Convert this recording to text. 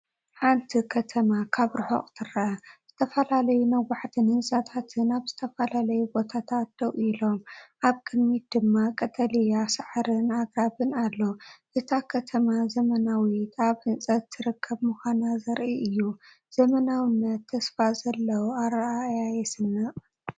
ሓንቲ ከተማ ካብ ርሑቕ ትርአ ዝተፈላለዩ ነዋሕቲ ህንጻታትን ኣብ ዝተፈላለየ ቦታታት ደው ኢሎም። ኣብ ቅድሚት ድማ ቀጠልያ ሳዕርን ኣግራብን ኣሎ። እታ ከተማ ዘመናዊትን ኣብ ህንፀት ትርከብን ምዃና ዘርኢ እዩ። ዘመናዊነትን ተስፋ ዘለዎ ኣረኣእያን የስንቕ።